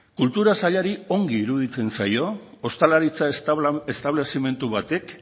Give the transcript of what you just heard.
kultura sailari ongi iruditzen zaio ostalaritza establezimendu batek